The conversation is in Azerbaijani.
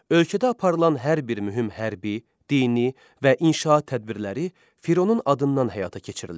Ölkədə aparılan hər bir mühüm hərbi, dini və inşaat tədbirləri Fironun adından həyata keçirilirdi.